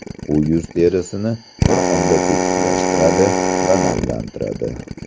U yuz terisini bir onda tetiklashtiradi va namlantiradi.